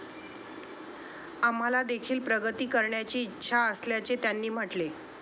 आम्हालादेखील प्रगती करण्याची इच्छा असल्याचे त्यांनी म्हटले.